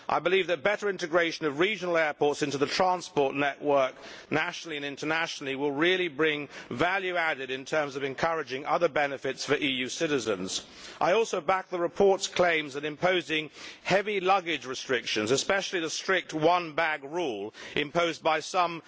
I believe that better integration of regional airports into the transport network nationally and internationally really will bring added value in terms of encouraging other benefits for EU citizens. I also back the report's claims that the imposing of heavy luggage restrictions, and especially the one bag rule imposed by some